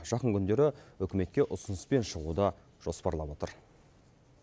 жақын күндері үкіметке ұсыныспен шығуды жоспарлап отыр